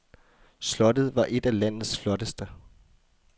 Slottet var et af landets flotteste.